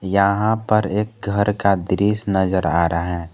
यहां पर एक घर का दृश्य नजर आ रहा है।